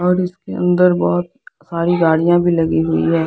और उसके अंदर बहुत सारी गड़िया भी लगी हुई है।